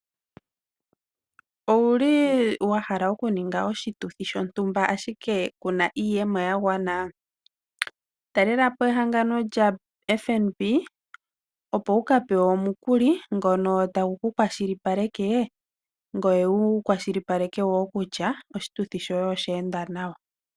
Owu li wa hala okuninga oshituthi shontumba ashike ku na iiyemo ya gwana? Talela po ehangano lyaFNB opo wu ka pewe omukuli ngono tagu ku kwashilipaleke ngoye wu kwashilipaleke woo kutya oshituthi shoye osha enda nawa.